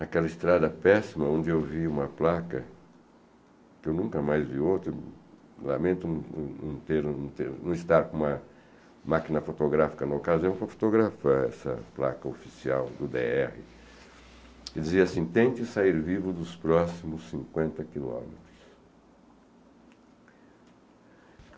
naquela estrada péssima, onde eu vi uma placa, que eu nunca mais vi outra, lamento não não não ter não ter, não estar com uma máquina fotográfica no ocaso, eu vou fotografar essa placa oficial do dê erre. Ele dizia assim, tente sair vivo dos próximos cinquenta quilômetros.